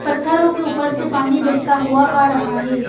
पत्थरों के ऊपर से पानी बहेता हुआ आ रहा हे।